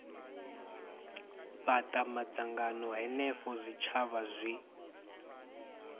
fhata madzangano henefho zwitshavha zwi